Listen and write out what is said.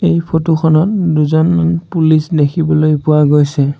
এই ফটো খনত দুজনমান পুলিচ দেখিবলৈ পোৱা গৈছে।